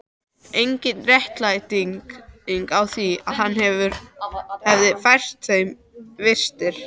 Engin réttlæting á því að hann hefði fært þeim vistir.